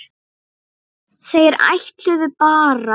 Þeir ætluðu bara.